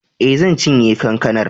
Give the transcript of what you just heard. E, zan cinye kankanar.